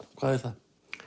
hvað er það